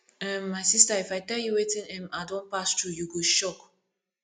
um my sister if i tell you wetin um i don pass through you go shock